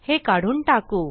हे काढून टाकू